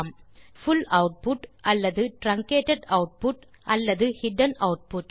புல் output அல்லது truncated output அல்லது hidden output